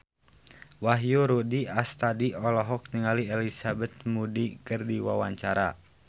Wahyu Rudi Astadi olohok ningali Elizabeth Moody keur diwawancara